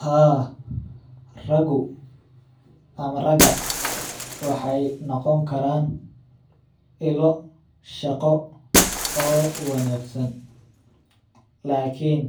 Haa ragu ama raga waxeey noqon karaan ilo shaqo oo wanagsan, lakin